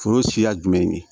Foro siya jumɛn ye nin